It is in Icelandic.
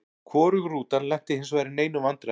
Hvorug rútan lenti hinsvegar í neinum vandræðum.